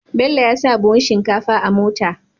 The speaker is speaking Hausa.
Bello yasa buhun shinkafa a mota